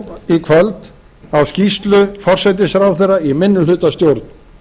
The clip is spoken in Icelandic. við hlýðum nú í kvöld á skýrslu forsætisráðherra í minnihlutastjórn